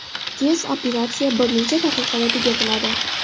Tez: operatsiya bir necha daqiqada tugatiladi.